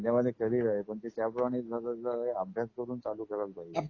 संदर्भाने केले आहे पण ते त्या पोराने त्याच बरोबर अभ्यास करून चालू करायला पाहिजे.